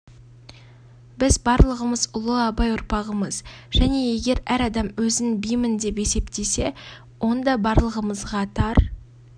біз барлығымыз ұлы абай ұрпағымыз және егер әр адам өзін бимін деп есептесе онда барлығымызға тар